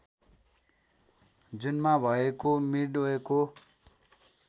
जुनमा भएको मिडवेको